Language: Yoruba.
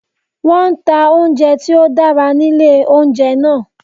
Wọ́n nta oúnjẹ tí ó dára nílé oúnjẹ náà